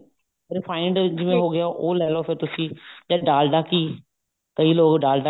refined ਜਿਵੇਂ ਹੋਗਿਆ ਉਹ ਲੈਲੋ ਫੇਰ ਤੁਸੀਂ ਜਾਂ ਡਾਲਡਾ ਘੀ ਕਈ ਲੋਕ ਡਾਲਡਾ